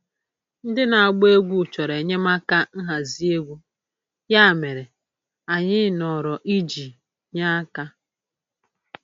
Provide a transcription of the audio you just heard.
Ndị na-agba egwú chọrọ enyemaka n'ịhazi egwu, ya mere, anyị nọrọ iji nye aka.